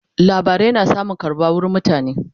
labarai na samun karbuwa wurin mutane